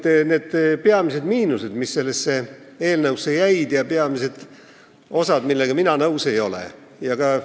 Mis on need peamised miinused, mis sellesse eelnõusse jäid, ja peamised osad, millega mina nõus ei ole?